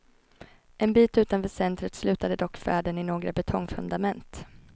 En bit utanför centret slutade dock färden i några betongfundament.